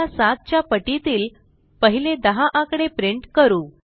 आता 7 च्या पटीतील पहिले 10 आकडे प्रिंट करू